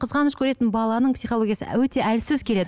қызғаныш көретін баланың психологиясы өте әлсіз келеді